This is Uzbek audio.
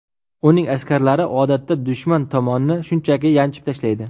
Uning askarlari odatda dushman tomonni shunchaki yanchib tashlaydi.